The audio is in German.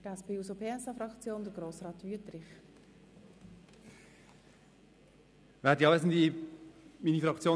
Für die SP-JUSO-PSA-Fraktion hat Grossrat Wüthrich das Wort.